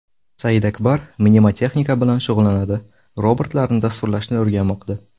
Saidakbar mnemotexnika bilan shug‘ullanadi, robotlarni dasturlashni o‘rganmoqda.